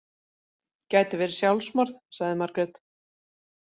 Gæti verið sjálfsmorð, sagði Margrét.